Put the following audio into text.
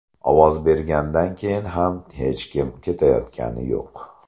Ovoz bergandan keyin ham hech kim ketayotgani yo‘q.